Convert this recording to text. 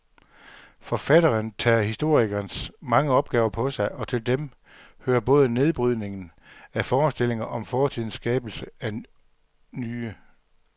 Forfatteren tager historikerens mange opgaver på sig, og til dem hører både nedbrydningen af forestillinger om fortiden skabelsen af nye.